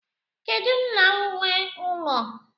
Kedu nna nwee ụlọ?